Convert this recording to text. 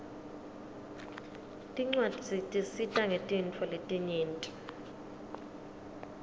tincwadzi tisita ngetintfo letinyenti